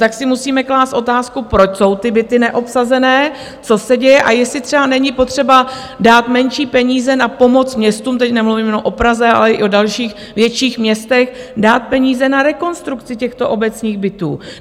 Tak si musíme klást otázku, proč jsou ty byty neobsazené, co se děje a jestli třeba není potřeba dát menší peníze na pomoc městům, teď nemluvím jenom o Praze, ale i o dalších větších městech, dát peníze na rekonstrukci těchto obecních bytů.